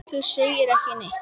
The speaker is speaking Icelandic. Þú segir ekki neitt.